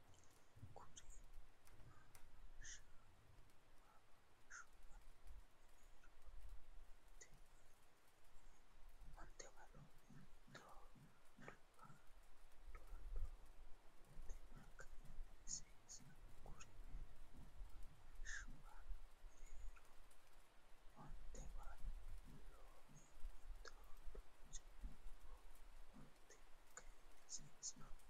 Kuri maammaashshuwa mereerono Ontaawo loome mittoho duhaho, ontaawoho kayinni seesaho Kuri maammaashshuwa mereerono Ontaawo loome mittoho duhaho, ontaawoho kayinni seesaho.